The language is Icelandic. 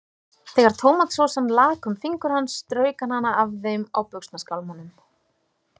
Þegar tómatsósan lak um fingur hans, strauk hann hana af þeim á buxnaskálmunum.